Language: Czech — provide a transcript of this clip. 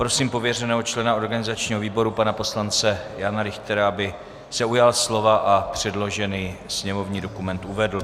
Prosím pověřeného člena organizačního výboru, pana poslance Jana Richtera, aby se ujal slova a předložený sněmovní dokument uvedl.